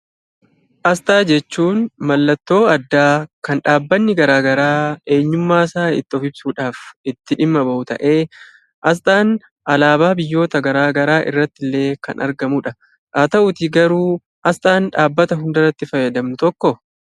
Asxaa jechuun mallattoo addaa kan dhaabbanni garaa garaa eenyummaasaa itti of ibsuudhaaf itti dhimma ba'u ta'ee asxaan alaabaa biyyoota garaa garaa irratti illee kan argamudha. Haa ta'uutii garuu asxaan dhaabbata hundarratti fayyadamnu tokkoo?